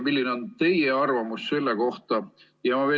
Milline on teie arvamus selle kohta?